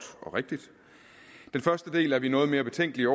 og rigtigt den første del er vi noget mere betænkelige